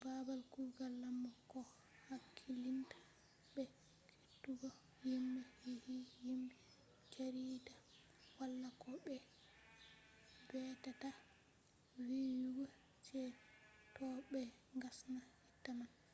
babal kugal lamu ko hakkilinta be hitugo himbe, yecci himbe jarida wala ko be beddata viyugo se to be gasna kita man